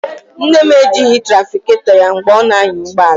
Nne m ejighị onye na-azụ ahịa ya mgbe ọ na-anya ụgbọ ala.